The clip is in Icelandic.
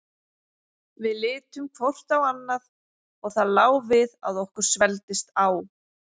Við litum hvort á annað og það lá við að okkur svelgdist á.